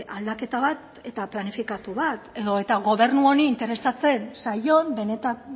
aldaketa bat eta planifikatu bat edo eta gobernu honi interesatzen zaion benetan